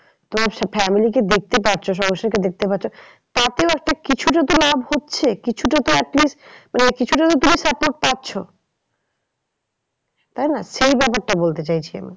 তো family কে দেখতে পাচ্ছ দেখতে পাচ্ছ। তাতেও একটা কিছুটা তো লাভ হচ্ছে। কিছুটা at least মানে কিছুটা তো তুমি support পাচ্ছ। তাই না সেই ব্যাপারটা বলতে চাইছি আমি।